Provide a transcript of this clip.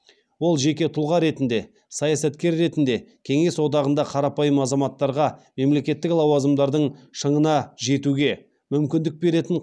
ол жеке тұлға ретінде саясаткер ретінде кеңес одағында қарапайым азаматтарға мемлекеттік лауазымдардың шыңына жетуге мүмкіндік беретін